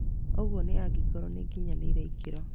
Ũguo nĩ angĩkorwo nĩgĩkinyanĩirie ikĩro